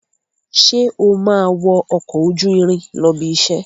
Sé o máa wọ ọkọ̀ ojú irin lọ ibiṣẹ́?